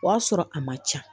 O y'a sɔrɔ a ma ca